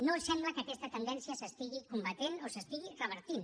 no sembla que aquesta tendència s’estigui combatent o s’estigui revertint